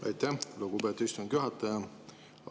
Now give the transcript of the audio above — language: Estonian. Aitäh, lugupeetud istungi juhataja!